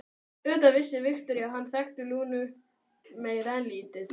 Auðvitað vissi Viktoría að hann þekkti Lúnu meira en lítið.